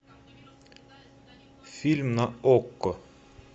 фильм на окко